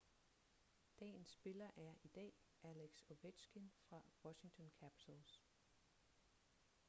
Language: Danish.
dagens spiller er i dag alex ovechkin fra washington capitals